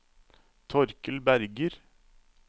Torkel Berger